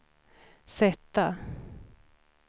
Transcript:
sätta